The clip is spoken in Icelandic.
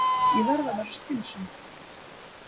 Ég verð að vera skynsöm.